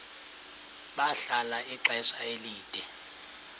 bahlala ixesha elide